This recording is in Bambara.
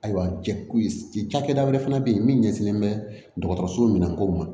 Ayiwa jɛkulu ci cakɛda wɛrɛ fana bɛ yen min ɲɛsinnen bɛ dɔgɔtɔrɔso minanko ma